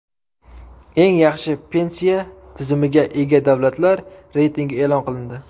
Eng yaxshi pensiya tizimiga ega davlatlar reytingi e’lon qilindi.